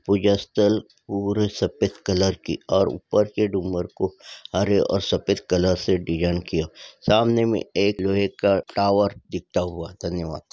पूजा स्थल पूरे सपेद कलर की और ऊपर की डूंगर को हरे और सफेद कलर से डिजाइन किया। सामने एक लोहे का टावर दिखता हुआ धन्यवाद।